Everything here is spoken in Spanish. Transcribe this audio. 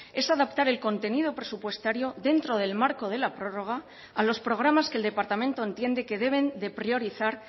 es adaptar el contenido presupuestario dentro del marco de la prórroga a los programas que el departamento entiende que deben de priorizar